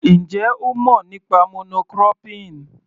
Ǹjẹ́ ó mọ̀ nípa mono cropping?